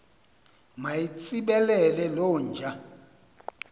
mayitsibele loo nja